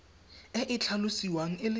e e tlhalosiwang e le